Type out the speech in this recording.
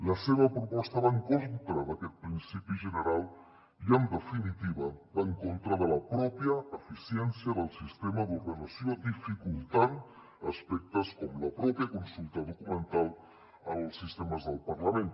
la seva proposta va en contra d’aquest principi general i en definitiva va en contra de la mateixa eficiència del sistema d’ordenació dificultant aspectes com la mateixa consulta documental als sistemes del parlament